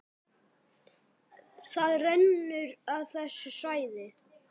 Það rennur af þessu svæði.